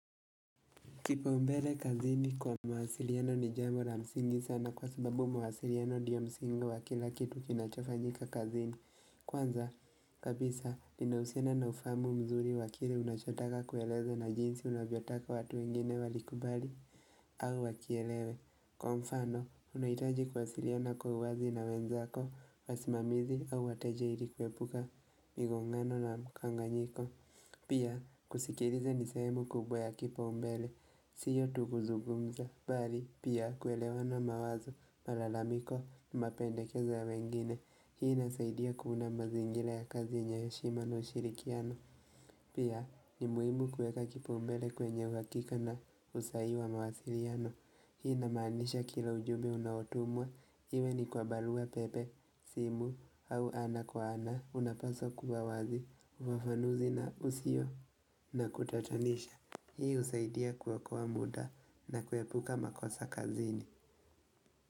Kipau mbele kazini kwa mawasiliano ni jambo la msingi sana kwa sababu mawasiliano ndiyo msingi wa kila kitu kinachofanyika kazini. Kwanza, kabisa, ninauhusiano na ufamu mzuri wakile unachotaka kueleza na jinsi unavyotaka watu wengine walikubali au wakielewe. Kwa umfano, unaitaji kuwasiliana kwa uwazi na wenzako, wasimamizi au wateje ilikuepuka migongano na kwanganyiko. Pia kusikiliza nisehemu kubwa ya kipau mbele, siyo tugu zugumza, bali pia kuelewana mawazo, malalamiko, mapendekeza ya wengine, hii nasaidia kuunda mazingira ya kazi yenye heshima na ushirikiano. Pia ni muimu kueka kipau mbele kwenye uhakika na usai wa mawasiliano. Hii na maanisha kila ujumbe unaotumwa. Iwe ni kwa barua pepe, simu, au ana kwa ana. Unapasa kuwa wazi, ufafanuzi na usio na kutatanisha. Hii husaidia kuokoa muda na kuepuka makosa kazini.